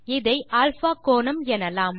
இதை α கோணம் எனலாம்